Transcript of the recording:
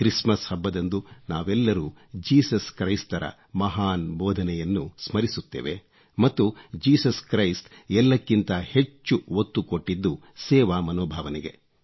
Christmas ಹಬ್ಬದಂದು ನಾವೆಲ್ಲರೂ Jesus ಕ್ರೈಸ್ತರ ಮಹಾನ್ ಬೋಧನೆಯನ್ನು ಸ್ಮರಿಸುತ್ತೇವೆ ಮತ್ತು ಜೀಸಸ್ ಕ್ರೈಸ್ತ ಎಲ್ಲಕ್ಕಿಂತ ಹೆಚ್ಚು ಒತ್ತು ಕೊಟ್ಟಿದ್ದು ಸೇವಾ ಮನೋಭಾವನೆಗೆ